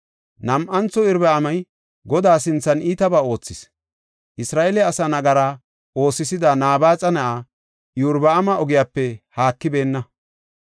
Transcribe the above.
Nam7antho Iyorbaami Godaa sinthan iitabaa oothis; Isra7eele asaa nagara oosisida Nabaaxa na7aa Iyorbaami ogiyape haakibeenna.